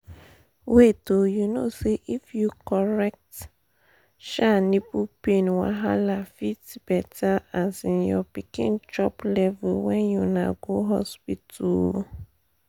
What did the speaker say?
wait oh you know say if you correct um nipple pain wahala fit better um your pikin chop levels when una go hospital um